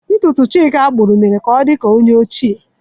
Ntutu Chika kpuru mere ka o di ka onye ochie.